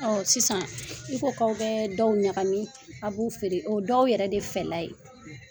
Sisan i ko k'aw bɛ dɔw ɲagami. A b'u feere, o ye dɔw yɛrɛ de fɛla ye.